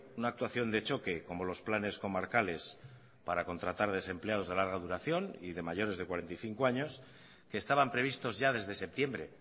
una actuación de choque como los planes comarcales para contratar desempleados de larga duración y de mayores de cuarenta y cinco años que estaban previstos ya desde septiembre